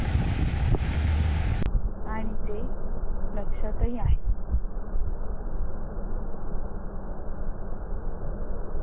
आणि ते लक्षातही आहे.